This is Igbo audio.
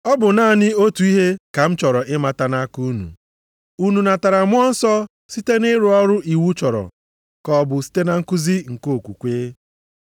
Ọ bụ naanị otu ihe ka m chọrọ ịmata nʼaka unu. Unu natara Mmụọ Nsọ site nʼịrụ ọrụ iwu chọrọ, ka ọ bụ site na nkuzi nke okwukwe?